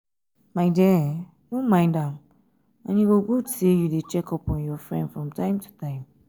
my dear no mind am and e good say you dey check up on your friend from time to time